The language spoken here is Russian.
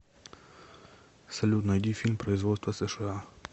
салют найди фильм производства сша